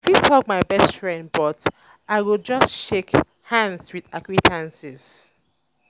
um i fit hug my best friend but i go just shake um hands with acquaintances.